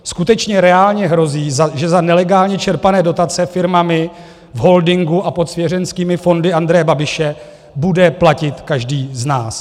Skutečně reálně hrozí, že za nelegálně čerpané dotace firmami v holdingu a pod svěřenskými fondy Andreje Babiše bude platit každý z nás.